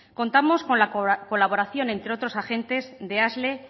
contamos con la colaboración entre otros agentes de asle